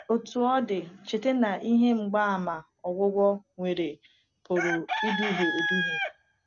Otú ọ dị, cheta na ihe mgbaàmà ogwụgwọ nwere pụrụ iduhie eduhie.